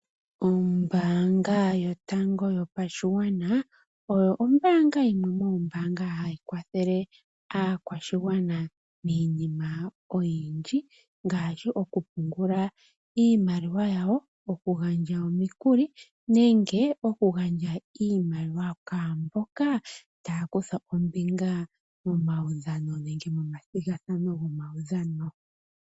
Ombaanga yotango yopashigwana oyo ombaanga yimwe moombanga hayi kwathele aakwashigwana miinima oyindji, ngaashi okupungula iimaliwa yawo, okugandja omikuli nenge okugandja iimaliwa kwaamboka taya kutha ombinga momawudhano nenge momathigathano gomawudhano.